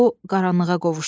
O qaranlığa qovuşdu.